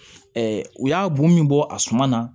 u y'a bon min bɔ a suma na